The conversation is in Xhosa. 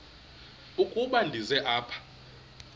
ukuba ndize apha